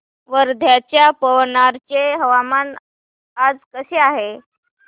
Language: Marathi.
वर्ध्याच्या पवनार चे हवामान आज कसे आहे